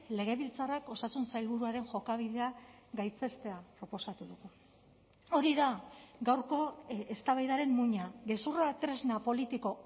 legebiltzarrak osasun sailburuaren jokabidea gaitzestea proposatu dugu hori da gaurko eztabaidaren muina gezurra tresna politiko